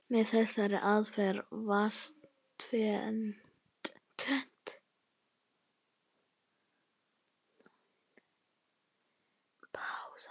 Með þessari aðferð vannst tvennt.